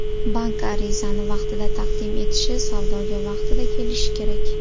Bank arizani vaqtida taqdim etishi, savdoga vaqtida kelishi kerak.